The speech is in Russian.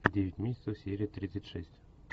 девять месяцев серия тридцать шесть